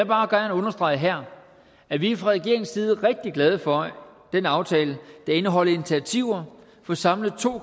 bare gerne understrege her at vi fra regeringens side er rigtig glade for den aftale der indeholder initiativer for samlet to